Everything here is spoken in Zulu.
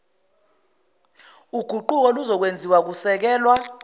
guquko luzokwenziwa kusekelwa